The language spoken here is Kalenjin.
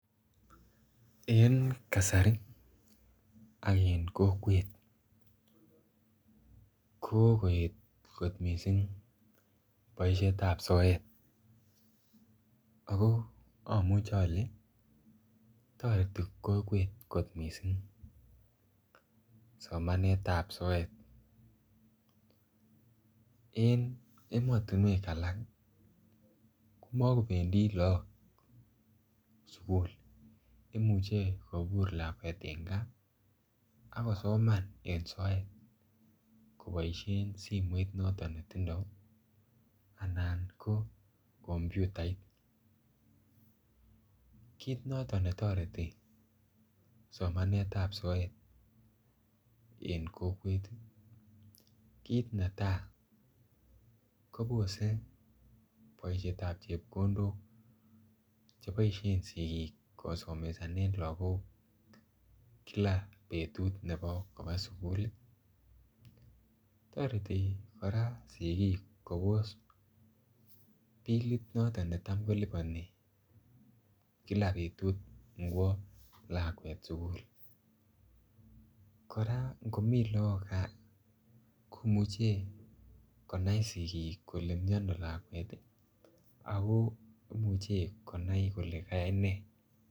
En kasari ak en kokwet ko koet kot missing boisietab soet ako amuche ale toreti kokwet kot missing somanetab soet en emotinywek alak komokobendi laak sugul imuche kobur lakwet en gaa akosoman en soet koboisien simoit noton netindoo anan koo kompyutait kit noton netoret somanetab soet en kokwet ii kit netaa kobose boisietab chepkondok cheboisien sikik kosomesanen lagok kila betut nebo kobaa suguli toreti kora sikik kobos billit noton netam kolipani kila betut ingwo lakwet sugul kora ngomii laak gaa komuche kona sikik kole miano lakwet akoo imuche konai kole kayai nee.